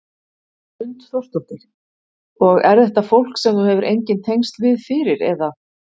Hrund Þórsdóttir: Og er þetta fólk sem þú hefur engin tengsl við fyrir eða?